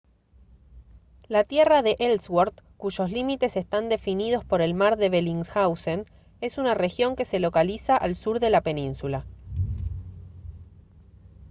la tierra de ellsworth cuyos límites están definidos por el mar de bellingshausen es una región que se localiza al sur de la península